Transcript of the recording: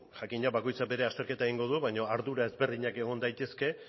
jakina bakoitza bere azterketa egingo du baino ardura ezberdinak egon daitezke